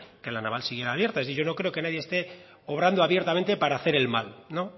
que la naval siguiera abierta yo no creo que nadie esté obrando abiertamente para hacer el mal no